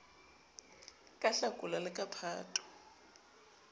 ka hlakola le ka phato